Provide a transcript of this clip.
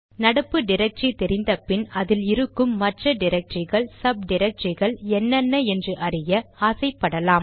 நடப்பு டிரக்டரி தெரிந்தபின் அதில் இருக்கும் மற்ற டிரக்டரிகள் சப் டிரக்டரிகள் என்னென்ன என்று அறிய ஆசை படலாம்